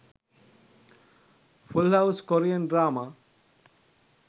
full house korean drama